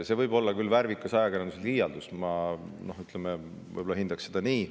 See võib küll olla värvikas ajakirjandusliialdus, ma hindaksin seda nii.